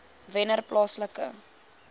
wennerplaaslike